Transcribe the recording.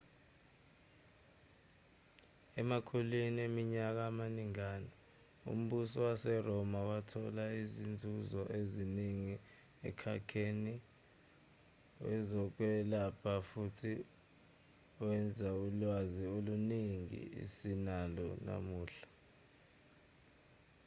emakhulwini eminyaka amaningana umbuso waseroma wathola izinzuzo eziningi emkhakheni wezokwelapha futhi wenza ulwazi oluningi esinalo namuhla